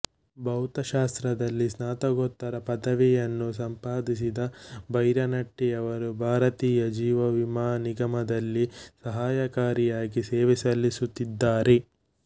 ಭೌತಶಾಸ್ತ್ರದಲ್ಲಿ ಸ್ನಾತಕೋತ್ತರ ಪದವಿಯನ್ನು ಸಂಪಾದಿಸಿದ ಭೈರನಟ್ಟಿಯವರು ಭಾರತೀಯ ಜೀವವಿಮಾ ನಿಗಮದಲ್ಲಿ ಸಹಾಯಕರಾಗಿ ಸೇವೆ ಸಲ್ಲಿಸುತ್ತಿದ್ದಾರೆ